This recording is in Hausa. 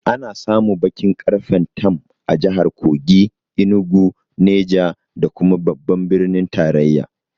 Ana samun baƙin ƙarfen tam a jahar Kogi, Enugu, Neja da kuma babban birnin tarayya